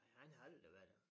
Han har aldrig været det